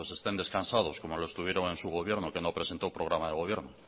pues estén descansados como lo estuvieron en su gobierno que no presentó programa de gobierno